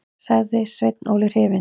sagði Sveinn Óli hrifinn.